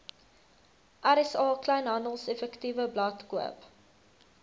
rsa kleinhandeleffektewebblad koop